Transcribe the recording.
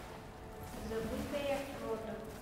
забытая рота